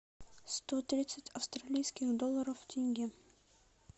сто тридцать австралийских долларов в тенге